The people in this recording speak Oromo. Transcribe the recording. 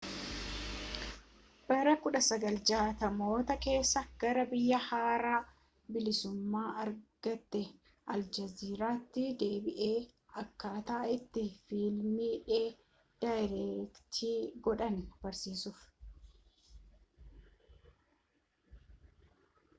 bara 1960moota keessa gara biyya haaraa bilisummaa argatte aljeeriyaatti deebi'e akkaataa itti fiilmii daayireektii godhan barsiisuuf